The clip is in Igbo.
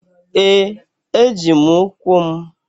Ee! Eji m ụkwụ m.